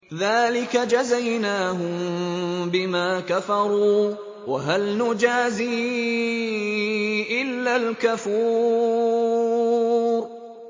ذَٰلِكَ جَزَيْنَاهُم بِمَا كَفَرُوا ۖ وَهَلْ نُجَازِي إِلَّا الْكَفُورَ